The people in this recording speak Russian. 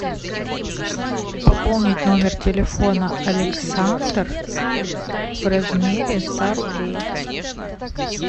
пополнить номер телефона александр в размере ста рублей